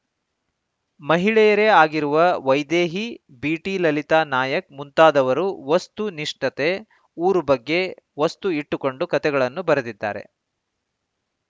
ಮಹಿಳೆಯರೇ ಆಗಿರುವ ವೈದೇಹಿ ಬಿಟಿ ಲಲಿತ ನಾಯಕ್‌ ಮುಂತಾದವರು ವಸ್ತು ನಿಷ್ಠತೆ ಊರು ಬಗ್ಗೆ ವಸ್ತು ಇಟ್ಟುಕೊಂಡು ಕಥೆಗಳನ್ನು ಬರೆದಿದ್ದಾರೆ